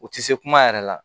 U tɛ se kuma yɛrɛ la